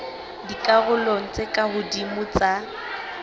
dikarolong tse ka hodimo tsa